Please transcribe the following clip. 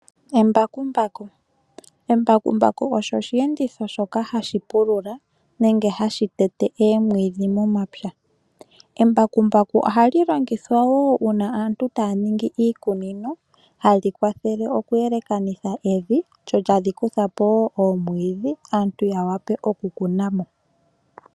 Embakumbaku osho osheenditho shoka hashi pulula nenge hadhi tetepo omwiidhi momapya . Embakumbaku ohali longithwa wo uuna aantu taya ningi iikunino, hali kwathele okweelekanitha momavi , lyo tali kuthapo wo oomwiidhi aantu yawape okukunamo.